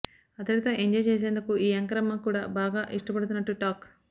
అతడితో ఎంజాయ్ చేసేందుకు ఈ యాంకరమ్మ కూడా బాగా ఇష్టపడుతున్నట్టు టాక్